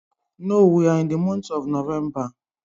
No, we are in the month of Novemba